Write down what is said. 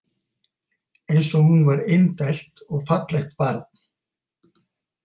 Eins og hún var indælt og fallegt barn.